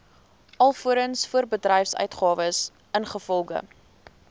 alvorens voorbedryfsuitgawes ingevolge